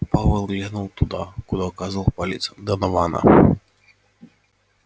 пауэлл глянул туда куда указывал палец донована